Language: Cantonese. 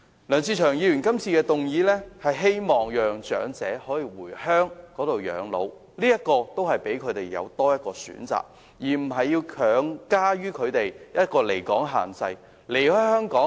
梁志祥議員提出的議案正是希望可讓長者回鄉養老，給予他們多一個選擇，而不是把離港限制強加於他們身上。